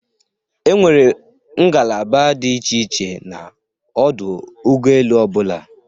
E nwere ngalaba dị iche iche n'ọdụ ụgọoelu ọbụla.